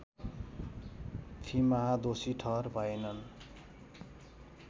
फिमाह दोषी ठहर भएनन्